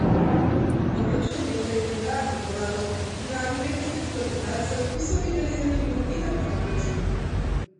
Obračun je v legendarno dvorano privabil lepo število gledalcev, ki so videli zanimiv in napet obračun.